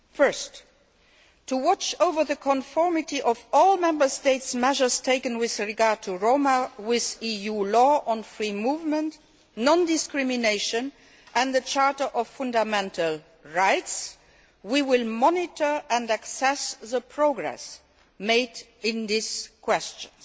Firstly, in order ensure the conformity of all Member State measures taken regarding the Roma with EU law on free movement, non discrimination and the Charter of Fundamental Rights, we will monitor and assess the progress made on these questions.